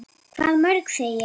Hvað mörg, segi ég.